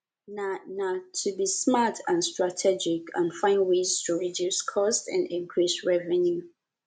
na na to be smart and strategic and find ways to reduce costs and increase revenue